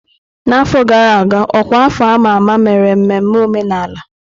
N'afọ gara aga, ọkwa afọ a ma ama mere mmemme omenala.